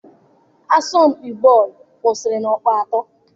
Asọmpi bọọlụ kwụsịrị na ọkpụ atọ.